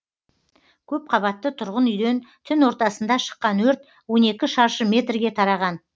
көпқабатты тұрғын үйден түн ортасында шыққан өрт он екі шаршы метрге тараған